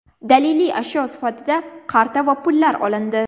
Daliliy ashyo sifatida qarta va pullar olindi.